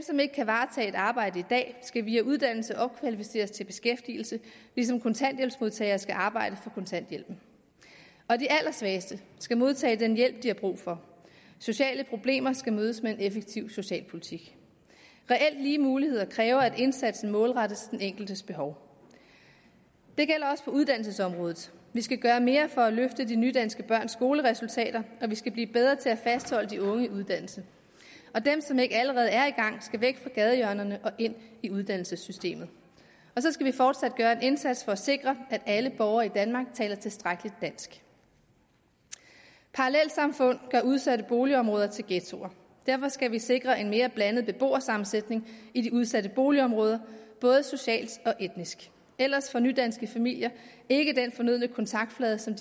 som ikke kan varetage et arbejde i dag skal via uddannelse opkvalificeres til beskæftigelse ligesom kontanthjælpsmodtagere skal arbejde for kontanthjælpen og de allersvageste skal modtage den hjælp de har brug for sociale problemer skal mødes med en effektiv socialpolitik reelt lige muligheder kræver at indsatsen målrettes den enkeltes behov det gælder også på uddannelsesområdet vi skal gøre mere for at løfte de nydanske børns skoleresultater og vi skal blive bedre til at fastholde de unge i uddannelse og de som ikke allerede er i gang skal væk fra gadehjørnerne og ind i uddannelsessystemet og så skal vi fortsat gøre en indsats for at sikre at alle borgere i danmark kan tilstrækkeligt dansk parallelsamfund gør udsatte boligområder til ghettoer derfor skal vi sikre en mere blandet beboersammensætning i de udsatte boligområder både socialt og etnisk ellers får nydanske familier ikke den fornødne kontaktflade til